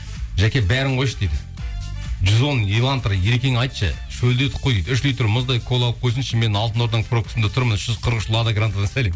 жәке бәрін қойшы дейді жүз он ливантор ерекеңе айтшы шөлдедік қой дейді үш литр мұздай кола алып қойсыншы мен алтын орданың пробкасында тұрмын үш жүз қырық үш лада грантадан сәлем